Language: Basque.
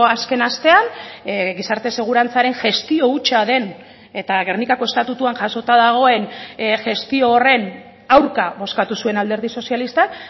azken astean gizarte segurantzaren gestio hutsa den eta gernikako estatutuan jasota dagoen gestio horren aurka bozkatu zuen alderdi sozialistak